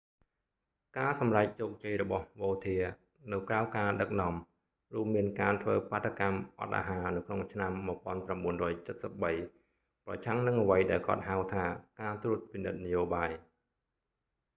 ការសម្រេចជោគជ័យរបស់វោធា vautier នៅក្រៅការដឹកនាំ រួមមានការធ្វើបាតុកម្មអត់អាហារនៅក្នុងឆ្នាំ1973 ប្រឆាំងនឹងអ្វីដែលគាត់ហៅថាការត្រួតពិនិត្យនយោបាយ